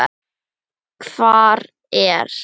Hvar er